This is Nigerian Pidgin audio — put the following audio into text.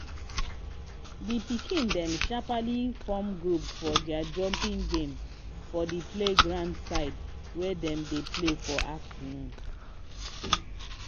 the pikin dem sharply form group for their jumping game for the playground side wey dem dey play for afternoon